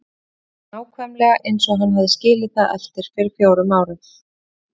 Herbergið var nákvæmlega eins og hann hafði skilið við það fyrir fjórum árum.